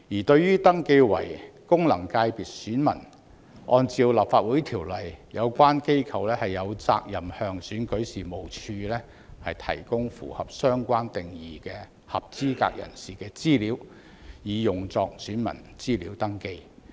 對於登記為功能界別選民，按照《立法會條例》，有關機構有責任向選舉事務處提供符合相關定義的合資格人士的資料以用作選民資料登記。